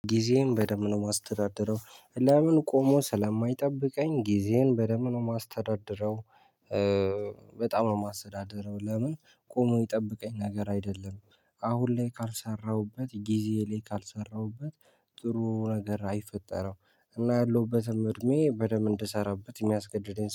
ጊዜን በደንብ ነው የማስተዳድረው ለምን ቆሞ ስለማይጠብቀኝ ጊዜን በደንብ ነው የማስተዳድረው። በጣም ነው የማስተዳድረው ለምን ቆሞ የሚጠበቀኝ ነገር አይደለም። አሁን ላይ ካልሰራሁበት ጊዜ ላይ ካልሰራሁበት ጥሩ ነገር አይፈጠረም። እና ያለሁበትም እድሜ በደንብ እንድሰራበት የሚያስገድደኝ ስለሆነ